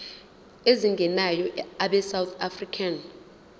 ezingenayo abesouth african